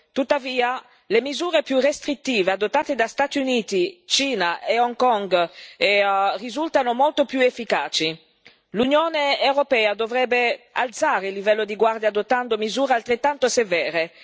Tuttavia, le misure più restrittive adottate da Stati Uniti, Cina e Hong Kong risultano molto più efficaci. L'Unione europea dovrebbe alzare il livello di guardia adottando misure altrettanto severe.